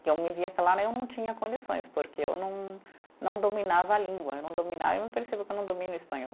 que eu me via claro, eu não tinha condições, porque eu não não dominava a língua, eu não dominava, eu percebo que eu não domino o espanhol.